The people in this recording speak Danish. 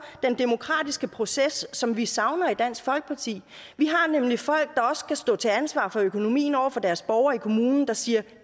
den demokratiske proces som vi savner i dansk folkeparti vi har nemlig folk der skal stå til ansvar for økonomien over for deres borgere i kommunen der siger at